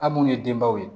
A munnu ye denbaw ye